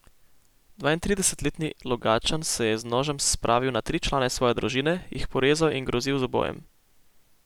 Dvaintridesetletni Logatčan se je z nožem spravil na tri člane svoje družine, jih porezal in grozil z ubojem.